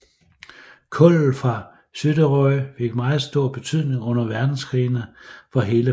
Kullet fra Suðuroy fik meget stor betydning under verdenskrigene for hele Færøerne